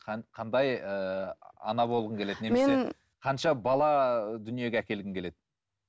қандай ыыы ана болғың келеді қанша бала дүниеге әкелгің келеді